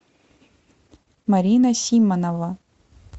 марина симонова